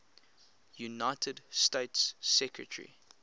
united states secretary